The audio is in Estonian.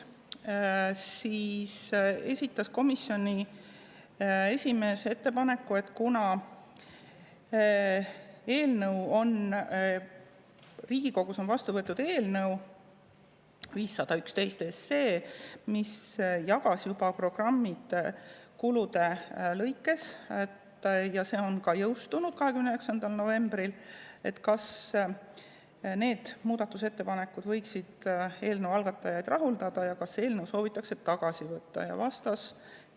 Siis esitas komisjoni esimees ettepaneku, et kuna Riigikogus on vastu võetud eelnõu 511, mis jagas programmid juba kulude lõikes, ja see ka jõustus 29. novembril, siis äkki need muudatusettepanekud võiksid eelnõu algatajaid rahuldada, ja kas nad soovivad eelnõu tagasi võtta.